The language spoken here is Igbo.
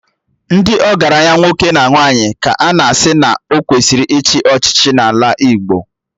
Ndị ọgaranya nwoke na nwaanyị ka a na-asị na ọ kwesịrị ichi echichi n'ala Igbo